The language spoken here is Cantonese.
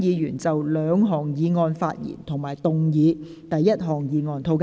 有意就這兩項議案發言的議員請按下"要求發言"按鈕。